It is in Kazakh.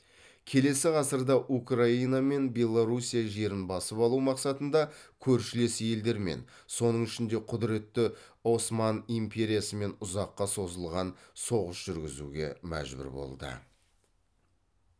келесі ғасырда украина мен белоруссия жерін басып алу мақсатында көршілес елдермен соның ішінде құдіретті осман империясымен ұзаққа созылған соғыс жүргізуге мәжбүр болды